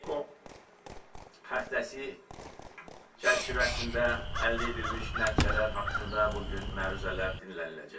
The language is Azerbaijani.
EKO həftəsi çərçivəsində əldə edilmiş nəticələr haqqında bu gün məruzələr dinləniləcək.